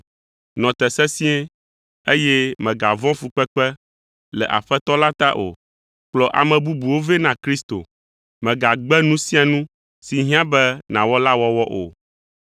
Nɔ te sesĩe, eye mègavɔ̃ fukpekpe le Aƒetɔ la ta o. Kplɔ ame bubuwo vɛ na Kristo. Mègagbe nu sia nu si hiã be nàwɔ la wɔwɔ o.